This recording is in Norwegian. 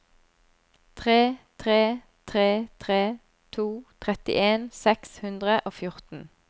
tre tre tre to trettien seks hundre og fjorten